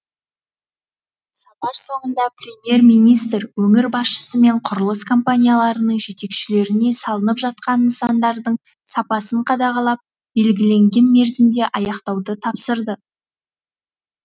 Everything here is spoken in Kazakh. сапар соңында премьер министр өңір басшысы мен құрылыс компанияларының жетекшілеріне салынып жатқан нысандардың сапасын қадағалап белгіленген мерзімде аяқтауды тапсырды